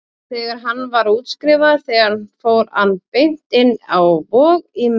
Þegar hann var útskrifaður þaðan fór hann beint inn á Vog, í meðferð.